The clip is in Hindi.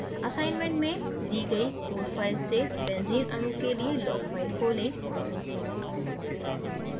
assignment में दी गयी code files से benzene अणु के लिए log file खोलें